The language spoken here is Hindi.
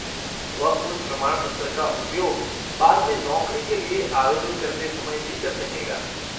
वह उस प्रमाणपत्र का उपयोग बाद में नौकरी के लिए आवेदन करते समय भी कर सकेगा।